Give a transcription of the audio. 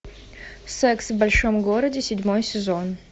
секс в большом городе седьмой сезон